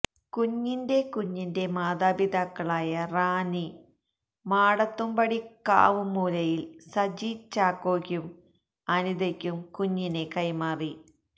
കുഞ്ഞിന്റെ കുഞ്ഞിന്റെ മാതാപിതാക്കളായ റാന്നി മാടത്തുംപടി കാവും മൂലയില് സജി ചാക്കോയ്ക്കും അനിതയ്ക്കും കുഞ്ഞിനെ കൈമാറി